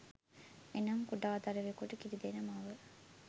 එනම් කුඩා දරුවකුට කිරිදෙන මව